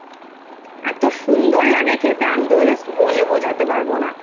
এত সুন্দর লাগে খেতে আমি just বলে বোঝাতে পারবো না।